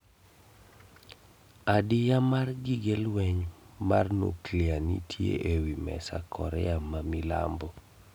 Adiya mar gige lweny mar nuklia nitie ewi mesa Korea ma Milambo